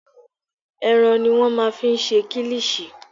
Ẹran ni wọ́n máa ń fi ń ṣe kílíṣì.